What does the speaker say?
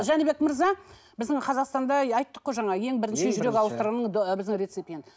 жәнібек мырза біздің қазақстанда айттық қой жаңа ең бірінші жүрек ауыстырған біздің рецепиент